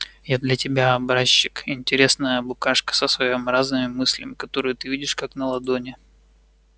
я для тебя образчик интересная букашка со своеобразными мыслями которые ты видишь как на ладони